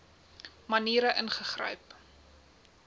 maniere ingegryp